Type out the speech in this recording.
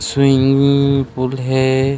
Swimming pool हे।